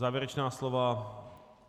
Závěrečná slova?